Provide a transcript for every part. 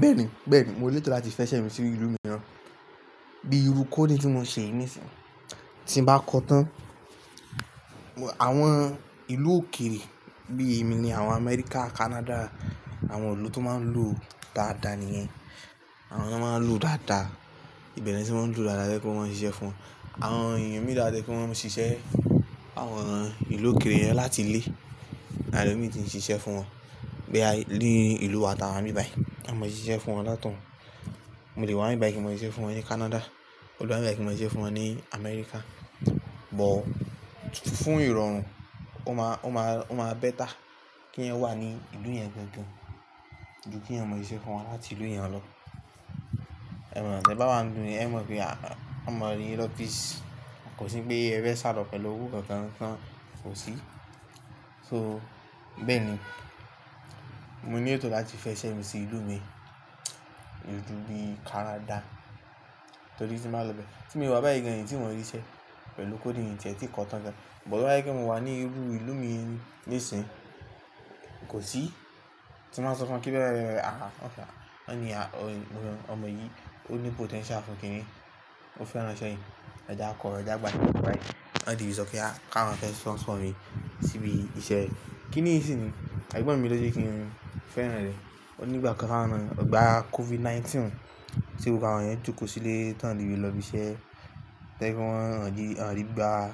Bẹ́ẹ̀ni, bẹ́ẹ̀ni mò ní ètò láti fẹ́ ṣẹ́ mi sí ìlú mìíràn. Bíi irú coding tí mò ń ṣe yìí nísìí, tí n bá kọ́ tán, àwọn ìlú òkèèrè bí èmi ni àwọn America, Canada, àwọn ìlú tó máa ń lo dáadáa nìyẹn. Àwọn ye máa ń lo o dáadáa, ibẹ̀ ni wọn ti máa ń lo dáadáa, to je pe o ma ń ṣiṣẹ́ fún wọn. Àwọn èèyàn mìíràn wa to je pe wọ́n máa ń ṣiṣẹ́ àwọn ìlú òkèèrè yẹn láti ilé. Le lomí ti ń ṣiṣẹ́ fún wọn. Bíi a lé ìlú wa tàwọn bíbàì, a mọ ṣiṣẹ́ fún wọn látọ̀ún. Mo lè wá níbàì kí mò ṣiṣẹ́ fún wọn ní Canada, mo lè wá níbàì kí mò ṣiṣẹ́ fún wọn ní America. But fún ìrọ̀rùn, ó máa, ó máa, ó máa better kí wọn wà ní ìlú yẹn gangan ju kí ẹ mọ ṣiṣẹ́ fún wọn láti ìlú yẹn lọ. Ẹ mọ̀, tí ẹ bá wá ń lu, ẹ̀ mọ̀ pé a mọ orí office, kò sí pé ẹ fẹ́ṣalo pẹ̀lú owó kankan tán, kò sí. So bẹ́ẹ̀ni, mò ní ètò láti fẹ́ ṣẹ́ mi sí ìlú mi, ìlú bíi Canada, torí tí mò máa lọ bẹ. Tí mo bá wá bẹ́ẹ̀ yẹn ni tí mò ń ríṣẹ́ pẹ̀lú coding yìí tẹ́tí kọ́ tán gan. But wọ́n wáyé kí mò wá ní irú ìlú mi yìí nísìí, kò sí. Tí mò máa sọ fún wọn pé bẹ́ẹ̀ bẹ́ẹ̀ bẹ́ẹ̀, ah ọkọ, ọni ọmọ yìí ó ní potential fún kíni, ó fẹ́ ránṣẹ́ yìí, ọ̀dá kọ, ọ̀dá gbà mí bẹ́ẹ̀ bẹ́ẹ̀. Daddy mi sọ pe a ká wọn fẹ́ sponsor mi síbi iṣẹ́. Kíni ìṣìnìí? Egbọ́n mi ló jẹ́ kí n fẹ́rán rẹ̀. Ó ní ìgbà kan ká wọn, ìgbà COVID-19 tí gbogbo àwọn yẹn jókòó sílé, tán le lọ bíṣẹ́, to je wípé wọn o le gba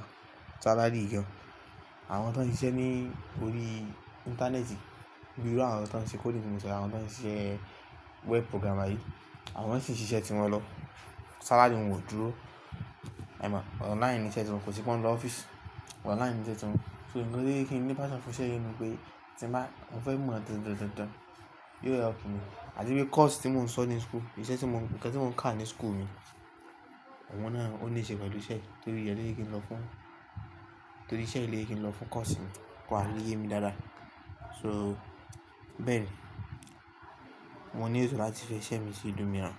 salary gan an. Àwọn tó ń ṣiṣẹ́ ní orí ìntanẹ́ẹ̀tì, bí irú àwọn tó ń ṣe coding mi mọ̀ sì, àwọn tó ń ṣe web programmer yìí, àwọn náà sì ń ṣiṣẹ́ ti wọn lọ. Salary wọn kò dúró, ẹ̀ mọ̀. Online ni iṣẹ́ ti wọn, kò sí pé wọn ń lọ office. Online ni iṣe ti wọn. So nǹkan tó yẹ kí ń ní passion fún iṣẹ́ yìí ni pé tí n bá, mo fẹ́ mú wọn dọ̀ọ́ dọ̀ọ́ dọ̀ọ́ dọ̀ọ́, yóò help mi. Àti bí course tí mò ń sọ ní school, iṣẹ́ tí mò ń, ǹkan tí mò ń kà ní school mi, òun náà ó ní iṣẹ́ pẹ̀lú iṣẹ́. Torí rẹ̀ lọ́je kí n lọ fún, torí iṣẹ́ lo je kí n lọ fún course mi, ko ba lé ye mi dáadáa. So bẹ́ẹ̀ni, mò ní ètò láti fẹ́ ṣẹ́ mi sí ìlú mìíràn.